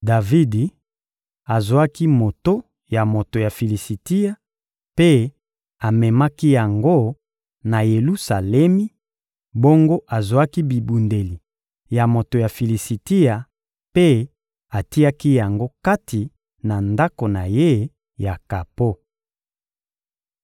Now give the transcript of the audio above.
Davidi azwaki moto ya moto ya Filisitia mpe amemaki yango na Yelusalemi; bongo azwaki bibundeli ya moto ya Filisitia mpe atiaki yango kati na ndako na ye ya kapo.